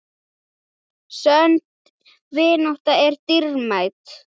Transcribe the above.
Sönn vinátta er dýrmæt.